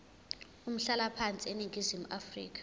umhlalaphansi eningizimu afrika